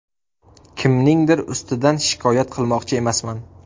Kimningdir ustidan shikoyat qilmoqchi emasman.